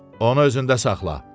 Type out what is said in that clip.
Onu özündə saxla.